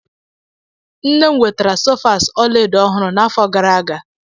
Nne m wetara sofas ọla edo ọhụrụ n'afọ gara aga.